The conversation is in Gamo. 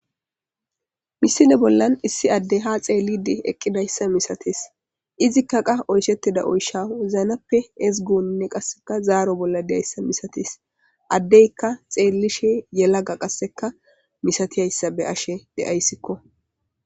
misile bollan issi addey ha xeellidi eqqidayssa misates izikka qa oyshettida oysha wozanappe ezigonne qasseka zaaro bolla deyiyassa misatis addeyka xeellishi yelaga qasseka misatiyayssa be'ashe de'ayssikko